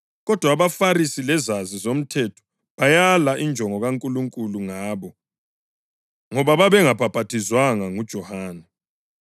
Kodwa abaFarisi lezazi zomthetho bayala injongo kaNkulunkulu ngabo, ngoba babengabhaphathizwanga nguJohane.)